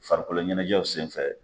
Farikolo ɲɛnajɛw sen fɛ.